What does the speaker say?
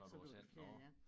Så kan du have flere ja